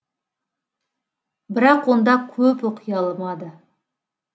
бірақ онда көп оқи алмады